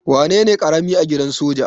Wanene karami a gidan soja?